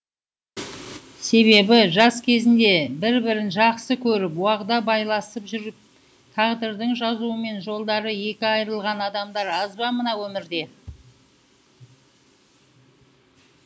себебі жас кезінде бір бірін жақсы көріп уағда байласып жүріп тағдырдың жазуымен жолдары екі айырылған адамдар аз ба мына өмірде